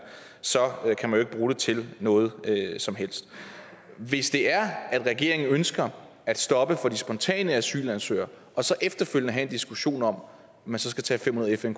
kan man ikke bruge det til noget som helst hvis det er at regeringen ønsker at stoppe for de spontane asylansøgere og så efterfølgende have en diskussion om man så skal tage fem hundrede fn